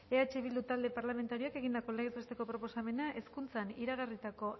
eh bildu talde parlamentarioak egindako legez besteko proposamena hezkuntzan iragarritako